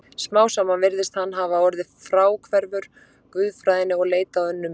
Smám saman virðist hann hafa orðið fráhverfur guðfræðinni og leitað á önnur mið.